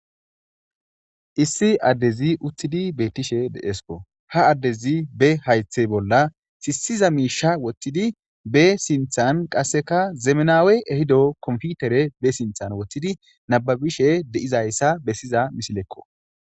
issi addezi uttidi bettishe deesko ha addezi be haythe bolla sisiza miisha wottidi be sinthan qasseka zemenawe ehido komfutere be sinthan woththidi nababishe de7izayssa bessiza misilekko